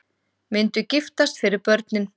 Myndu giftast fyrir börnin